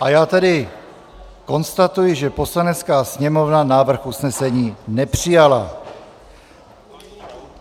A já tedy konstatuji, že Poslanecká sněmovna návrh usnesení nepřijala.